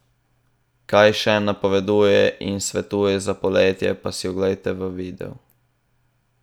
Kaj še napoveduje in svetuje za poletje, pa si oglejte v videu!